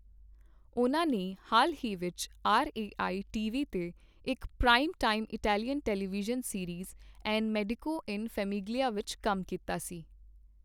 ਉਨ੍ਹਾਂ ਨੇ ਹਾਲ ਹੀ ਵਿੱਚ ਆਰਏਆਈ ਟੀਵੀ ਤੇ ਇੱਕ prime time Italian television series, Un Medico in Famiglia ਵਿੱਚ ਕੰਮ ਕੀਤਾ ਸੀ।